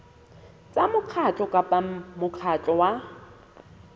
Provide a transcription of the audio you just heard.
tsa mokgatlo kapa mokgatlo wa